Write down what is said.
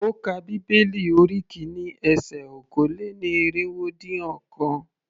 Ó ka bíbélì orí kìíní ese okòó-lé-ní-irínwó-dín-ọ̀kan.